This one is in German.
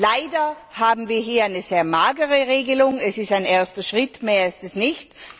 Leider haben wir hier eine sehr magere Regelung, es ist ein erster Schritt, mehr ist es nicht.